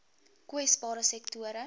kwesbare sektore